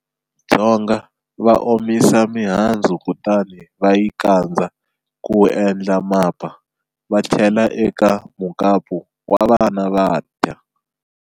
Dzonga va omisa mihandzu kutani va yi kandza ku endla mapa, va chela eka mukapu wa vana va dya.